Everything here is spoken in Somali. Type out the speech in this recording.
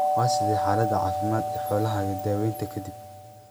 Waa sidee xaalada caafimaad ee xoolahaaga daawaynta ka dib?